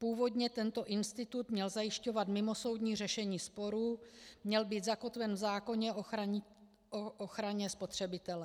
Původně tento institut měl zajišťovat mimosoudní řešení sporů, měl být zakotven v zákoně o ochraně spotřebitele.